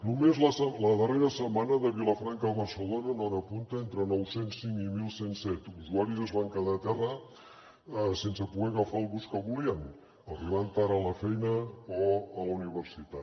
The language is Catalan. només la darrera setmana de vilafranca a barcelona en hora punta entre nou cents i cinc i onze zero set usuaris es van quedar a terra sense poder agafar el bus que volien arribant tard a la feina o a la universitat